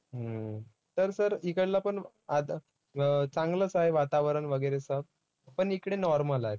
हम्म तर sir हिकडला पण अं चांगलंच आहे वातावरण वगैरे सब. पण इकडे normal आहे.